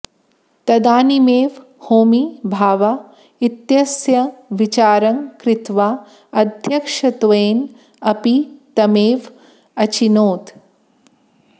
तदानीमेव होमी भाभा इत्यस्य विचारं कृत्वा अध्यक्षत्वेन अपि तमेव अचिनोत्